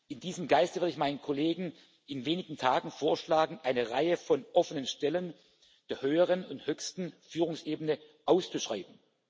In diesem Geiste werde ich meinen Kollegen in wenigen Tagen vorschlagen, eine Reihe von offenen Stellen der höheren und höchsten Führungsebene auszuschreiben.